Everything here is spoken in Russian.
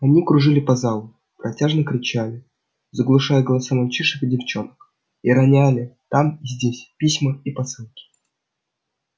они кружили по залу протяжно кричали заглушая голоса мальчишек и девчонок и роняли там и здесь письма и посылки